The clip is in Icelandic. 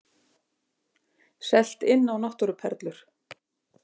Selt inn á náttúruperlu